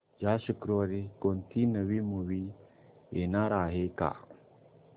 या शुक्रवारी कोणती नवी मूवी येणार आहे का